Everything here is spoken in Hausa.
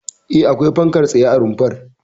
E, akwai fankar tsaye a rumfar.